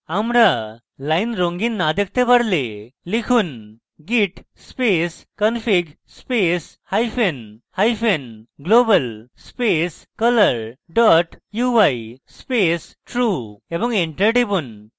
আমরা lines রঙিন না দেখতে পারলে লিখুন: git space config space hyphen hyphen global space color dot ui space true এবং enter টিপুন